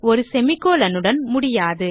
ஒரு செமிகோலன் உடன் முடியாது